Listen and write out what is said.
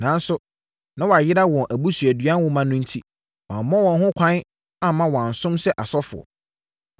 Nanso, na wɔayera wɔn abusuadua nwoma no enti wɔamma wɔn ho ɛkwan amma wɔansom sɛ asɔfoɔ.